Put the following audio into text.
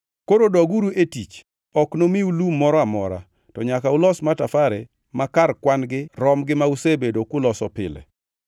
Koro doguru e tich, ok nomiu lum moro amora, to nyaka ulos matafare ma kar kwan-gi rom gi ma usebedo kuloso pile.”